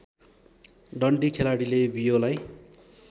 डन्डी खेलाडीले बियोलाई